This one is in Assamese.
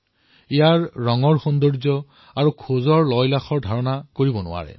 ইয়াৰ ৰঙৰ সৌন্দৰ্য আৰু চালৰ মোহকতাৰ আণ্ডাজ লগাব নোৱাৰে